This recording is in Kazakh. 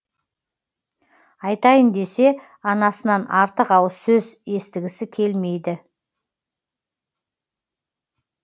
айтайын десе анасынан артық ауыз сөз естігісі келмейді